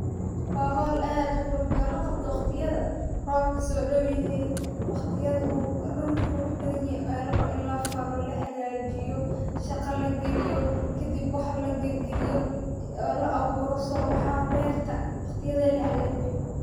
waa hool aad uqurux badhan laqabto waqtiyadha robka sodaw yehe, waqtiyadha uu dulka qurux badhan yahaay ayaa larawa in lafalo oo lahagajiyo. shaqa lagiliyo, kadib wax lagilgaliyo kadib soo baxan berta lagajiye.